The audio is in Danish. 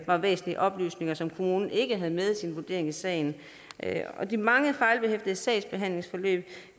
var væsentlige oplysninger som kommunen ikke havde med i sin vurdering af sagen de mange fejlbehæftede sagsbehandlingsforløb